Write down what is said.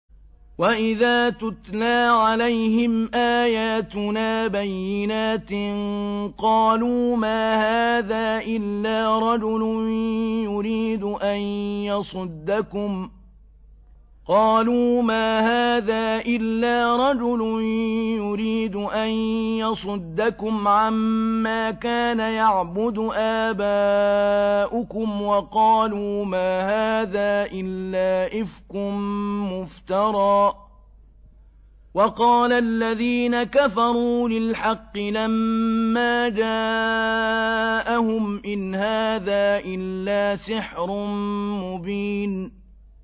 وَإِذَا تُتْلَىٰ عَلَيْهِمْ آيَاتُنَا بَيِّنَاتٍ قَالُوا مَا هَٰذَا إِلَّا رَجُلٌ يُرِيدُ أَن يَصُدَّكُمْ عَمَّا كَانَ يَعْبُدُ آبَاؤُكُمْ وَقَالُوا مَا هَٰذَا إِلَّا إِفْكٌ مُّفْتَرًى ۚ وَقَالَ الَّذِينَ كَفَرُوا لِلْحَقِّ لَمَّا جَاءَهُمْ إِنْ هَٰذَا إِلَّا سِحْرٌ مُّبِينٌ